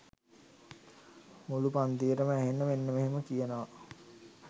මුලු පන්තියටම ඇහෙන්න මෙන්න මෙහෙම කියනවා